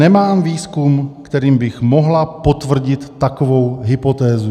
"Nemám výzkum, kterým bych mohla potvrdit takovou hypotézu."